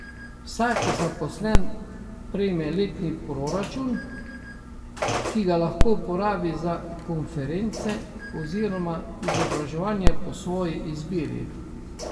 Vsak zaposlen prejme letni proračun, ki ga lahko porabi za konference oziroma izobraževanja po svoji izbiri.